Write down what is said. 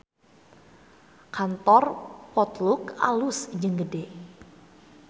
Kantor Potluck alus jeung gede